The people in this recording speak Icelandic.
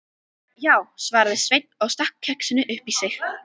Já, svaraði Sveinn og stakk kexinu upp í sig.